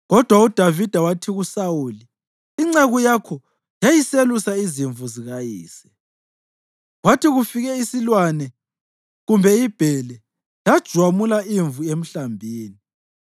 Kodwa uDavida wathi kuSawuli, “Inceku yakho yayiselusa izimvu zikayise. Kwathi kufike isilwane kumbe ibhele lajwamula imvu emhlambini,